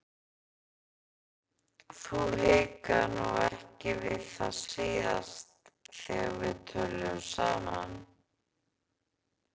Þú hikaðir nú ekki við það síðast þegar við töluðum saman.